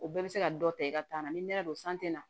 O bɛɛ bɛ se ka dɔ ta i ka taa na ni nɛrɛ don san tɛ na